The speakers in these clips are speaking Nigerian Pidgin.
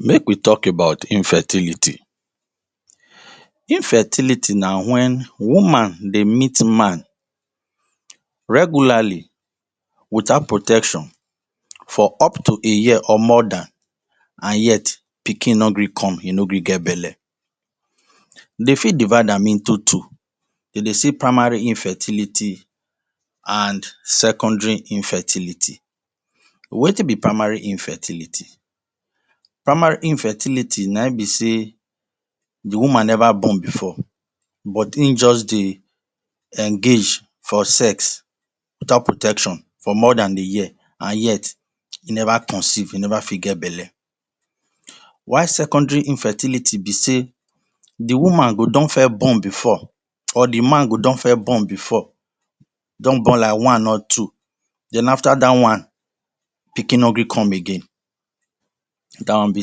Make we talk about infertility: Infertility na when woman de meet man regularly without protection for up to a year or more than and yet pikin no gree come e no gree get belle dem fit divide am into two dem de see primary infertility and secondary infertility. Wetin be primary infertility: Primary infertility na im be sey the woman never born before but him just dey engage for sex without protection for more than a year and yet e never conceive, e never fit get belle. While secondary infertility be sey the woman go don first born before or the man go don first born before don born like one or two then after that one pikin nor gree come again na that one be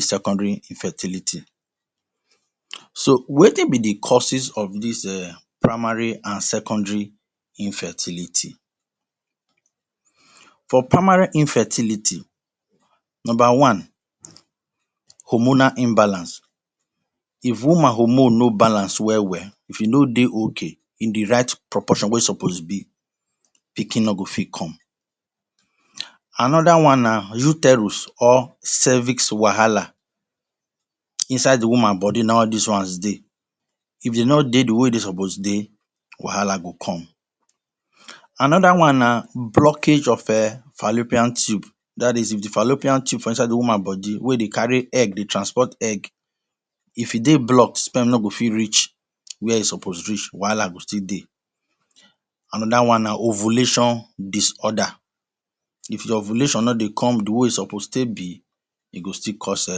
secondary infertility. So wetin be the causes of dis primary and secondary infertility for primary infertility number one Hormonal imbalance if woman hormone no balance well well if e no de okay in the right proportion wey e suppose be pikin no go fit come. Another one na uterus or pelvic wahala, inside the woman body na in all dis ones de if them no dey the way e suppose de wahala go come. Another one na blockage of fallopian tube that is if the fallopian tube for inside the woman body wey de carry egg de transport egg if e de blocked sperm no go fit reach were e suppose reach wahala go still dey. Another one na ovulation disorder, if your ovulation no de come the way e suppose take be e go still cause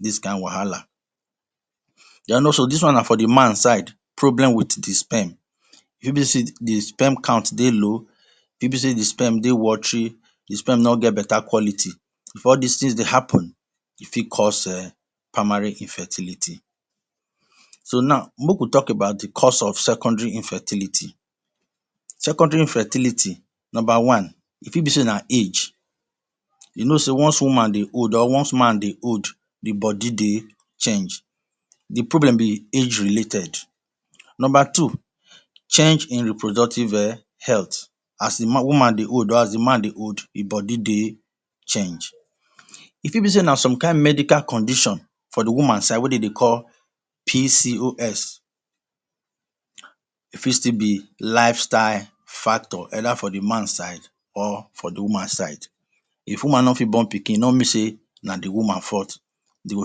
dis kind wahala. Then also dis one na from the man side problem with the sperm if e be sey the sperm count de low e fit be sey the sperm de watery the sperm no get better quality if all dis thing de happen e fit cause[um] primary infertility. So now make we talk about the cause of secondary infertility. Secondary infertility, Number one e fit be sey na age you know sey once woman de old or once man de old the body de change the problem be age related. Number two change in reproductive health, as the woman de old as the man de old the body de change. E fit be sey na some kind medical condition for the woman side wey dem de call PCOS. E fit still be lifestyle factor either from the man side or for the woman side if woman no fit born pikin e no mean sey na the woman fault dem go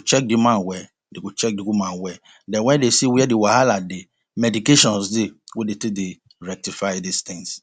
check the man well dem go check the woman well then when dem see were the wahala dey, medications de wey dem de take rectify all dis things.